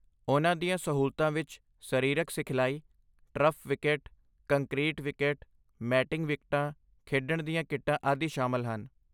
ਉਨ੍ਹਾਂ ਦੀਆਂ ਸਹੂਲਤਾਂ ਵਿੱਚ ਸਰੀਰਕ ਸਿਖਲਾਈ, turf wicket, concrete wicket, matting ਵਿਕਟਾਂ, ਖੇਡਣ ਦੀਆਂ ਕਿੱਟਾਂ ਆਦਿ ਸ਼ਾਮਲ ਹਨ।